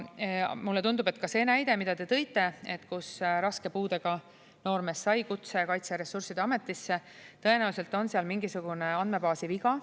Mulle tundub, et ka selle näite puhul, mis te tõite, kus raske puudega noormees sai kutse Kaitseressursside Ametisse, on seal tõenäoliselt mingisugune andmebaasi viga.